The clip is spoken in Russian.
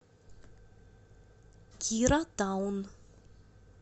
кира таун